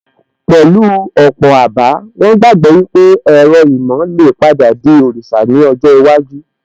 Pẹ̀lú ọ̀pọ̀ àbá, wón gbàgbọ́ wípé ẹ̀rọ ìmọ̀ lè padà di òrìṣà ní ọjọ́ iwájú